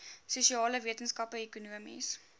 sosiale wetenskappe ekonomiese